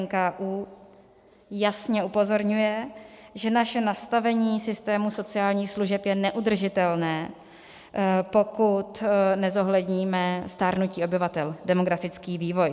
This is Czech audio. NKÚ jasně upozorňuje, že naše nastavení systému sociálních služeb je neudržitelné, pokud nezohledníme stárnutí obyvatel - demografický vývoj.